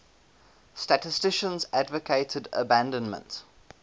statisticians advocated abandonment